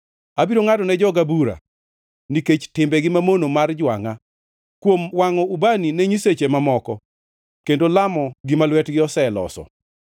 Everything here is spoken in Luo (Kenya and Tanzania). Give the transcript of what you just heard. Abiro ngʼadone joga bura nikech timbegi mamono mar jwangʼa, kuom wangʼo ubani ne nyiseche mamoko kendo lamo gima lwetgi oseloso.